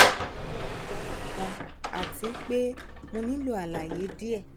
mo n ṣe ijabọ kan ati pe mo nilo alaye diẹ um